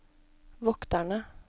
vokterne